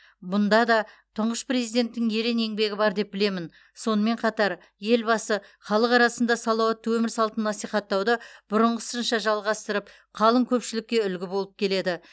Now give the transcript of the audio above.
бұнда да тұңғыш президенттің ерен еңбегі бар деп білемін сонымен қатар елбасы халық арасында салауатты өмір салтын насихаттауды бұрынғысынша жалғастырып қалың көпшілікке үлгі болып келеді